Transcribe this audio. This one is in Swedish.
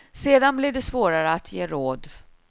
Sedan blir det svårare att ge råd.